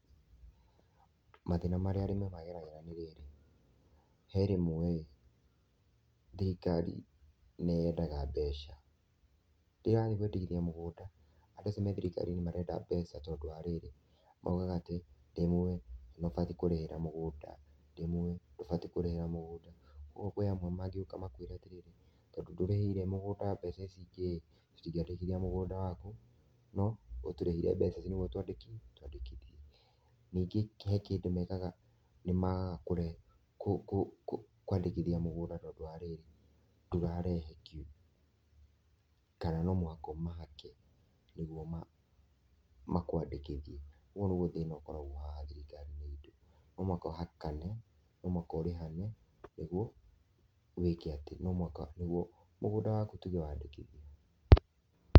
Mathĩna marĩa arĩmĩ mageragĩra nĩ rĩrĩ, he rĩmwe thirikari nĩyendaga mbeca rĩrĩa wathĩĩ kwandĩkithia mũgũnda andũ acio me thirikari-ĩnĩ marenda mbeca tondũ wa rĩrĩ maũgaga atĩ ndĩmũi nĩubatie kũrĩhĩra mũgũnda ,ndĩmũĩ ndũbatie kũrĩhĩra mũgũnda , kwa ũgũo kwĩ amwe mangĩoka makwĩre atĩrĩrĩ tondũ ndũrĩhĩire mũgũnda mbeca ici ingĩ tũtingĩandĩkithia mũgũnda wakũ no ũtũrĩhire mbeca ici nĩgwo twandĩki-twandĩkithiĩ . Ningĩ he kĩndũ mekaga nimekwandĩkithia mũgũnda tondũ wa rĩrĩ ndũrarehe kĩndũ kana no mũhaka ũmahake nĩgwo makwandĩkithie ũgũo nĩgwo thĩna ũkoragwo haha thirikari-ĩnĩ ĩtũ , no mũhaka ũhakane, no mũhaka ũrĩhane nĩgwo wĩke atĩ, no mũhaka nĩgwo mũgũnda wakũ tũge wandĩkithio.